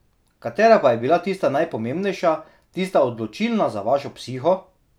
Katera pa je bila tista najpomembnejša, tista odločilna za vašo psiho?